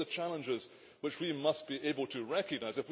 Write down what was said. Those are the challenges which we must be able to recognise.